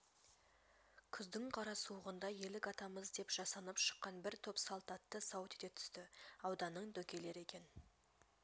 күздің қара суығында елік атамыз деп жасанып шыққан бір топ салтатты сау ете түсті ауданның дөкейлері екен